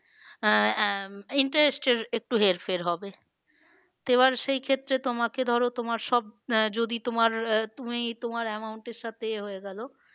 আহ আহ interest এর একটু হেরফের হবে তো এবার সেই ক্ষেত্রে তোমাকে ধরো তোমার সব আহ যদি তোমার আহ তুমি তোমার amount এর সাথে এ হয়ে গেলো